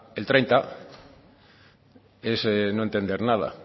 el treinta es no entender nada